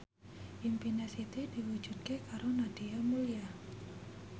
impine Siti diwujudke karo Nadia Mulya